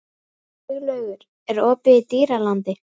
Siglaugur, er opið í Dýralandi?